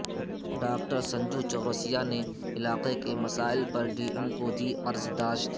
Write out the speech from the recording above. doctor سنجوچورسیا نے علاقے کے مسائل پر ڈی ایم کو دی عرضداشت